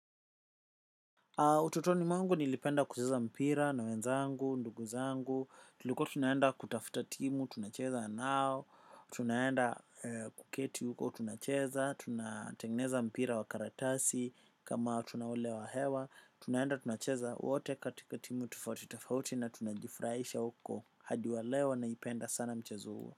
Utotoni mwangu nilipenda kucheza mpira na wenzangu, nduguzangu, tuliko tunaenda kutafuta timu, tunacheza nao, tunaenda kuketi huko, tunacheza, tunatengeneza mpira wa karatasi, ama tunaulewa hewa, tunaenda tunacheza, wote katika timu tofauti, tofauti na tunajifuraisha huko, hadiwalewa na ipenda sana mchezo uo.